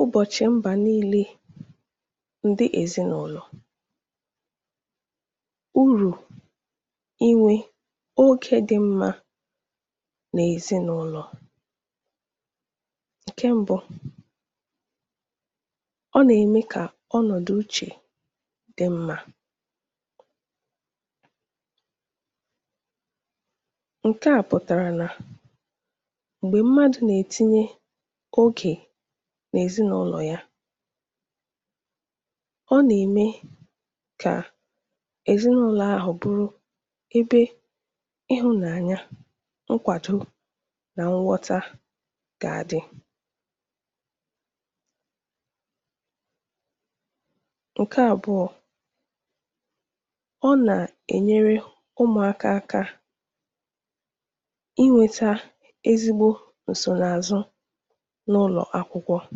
Ụbọ̀chị̀ Èzinàụlọ̀ – Ụ̀rụ̀ Inwè Ọ̀gụ̀ Oge Dị̀ Mmà N’Èzinàụlọ̀ Tàà bụ̀ ụbọ̀chị̀ ezinàụlọ̀ um, anyị nà-àkọ̀rọ̀ gbasàrà urù inwè oge dị̀ mmà n’ezinàụlọ̀ gị. Urù nke mbụ̀ bụ̀ nà ọ na-eme ka udo nà ịhụ̀nàanya dị̀ n’ezinàụlọ̀. Mgbe ezinàụlọ̀ nà-anọkọ ọnụ, um ọ na-eme ka ụlọ̀ ghọọ ebe ịhụ̀nàanya, nkwàdò, nà nwọta dị̀rị̀. Urù nke àbụọ̀ bụ̀ nà ọ na-enyere ụmụ̀aka aka ịmụta nke ọma n’ụlọ̀akwụkwọ um.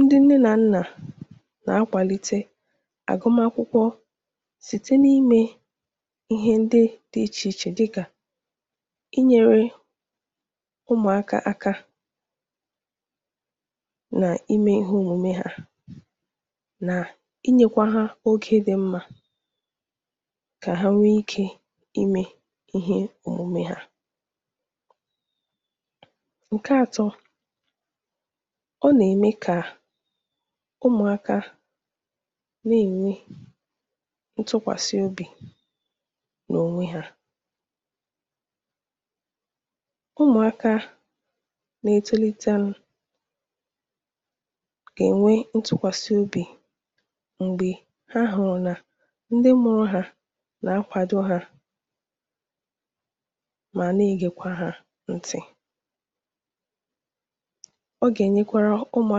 Mgbe nne nà nna nà-akwàdo ụmụ̀ ha, nà-enyere ha aka n’ọrụ ụlọ̀, ọ na-eme ka ụmụ̀aka nweta ntụkwàsị obi nà ọgụ̀màkwụkwọ. Urù nke atọ̀ bụ̀ nà ọ na-eme ka ụmụ̀aka nwee ntụkwàsị obi n’onwe ha. Mgbe ụmụ̀aka hụ̀rụ̀ nà ndị mụ̀rụ̀ ha nà-akwàdò ha, nà-egekwa ha ntị um, ha nà-amụ̀ta ị̀gosi obi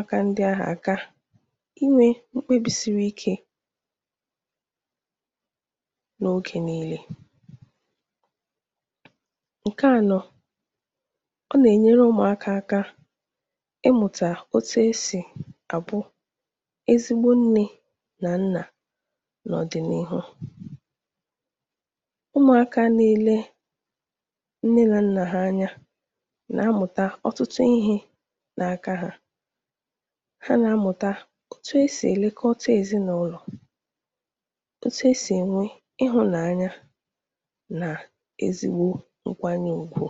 ike nà ime mkpebi ziri ezi. Urù nke ànọ̀ bụ̀ nà ọ na-akụzi ụmụ̀aka otu e si bụrụ ezigbo nne nà nna n’ọdịnihu. Site n’ile ndị mụ̀rụ̀ ha anya um, ha nà-amụ̀ta otu e si èlekọta ezinàụlọ, gosi ịhụ̀nàanya, nà nye ndị ọzọ nkwànyè ùkwù.